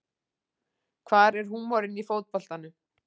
Hvar er húmorinn í fótboltanum